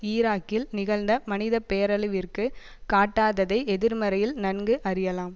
ஈராக்கில் நிகழ்ந்த மனித பேரழிவிற்கு காட்டாததை எதிர்மறையில் நன்கு அறியலாம்